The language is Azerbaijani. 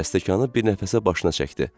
Və stəkanı bir nəfəsə başına çəkdi.